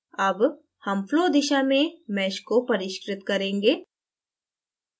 अब हम flow दिशा में mesh को परिष्कृत करेंगे